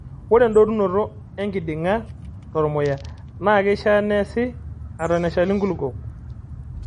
Ore endotunoto enkiding'a tormuya naa keishaa neesi eton eshali nkulupuok.